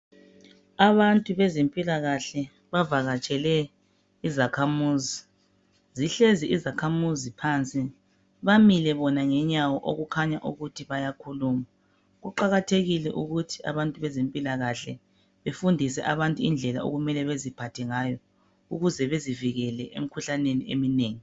Abantu bezempilakahle bavakatshele izakhamuzi. Zihlezi izakhamuzi phansi, bamile bona ngenyawo okukhanya ukuthi bayakhuluma. Kuqakathekile ukuthi abantu bezempilakahle bafundise abantu indlela okumele beziphathe ngayo ukuze bezivikele emkhuhlaneni eminengi.